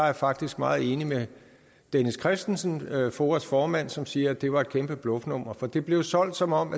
er faktisk meget enig med dennis kristensen foas formand som siger at det var et kæmpe bluffnummer for det blev solgt som om